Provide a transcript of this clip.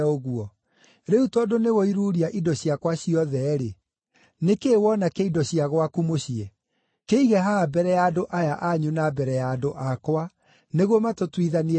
Rĩu tondũ nĩwoiruria indo ciakwa ciothe-rĩ, nĩ kĩĩ wona kĩa indo cia gwaku mũciĩ? Kĩige haha mbere ya andũ aya anyu na mbere ya andũ akwa nĩguo matũtuithanie ciira.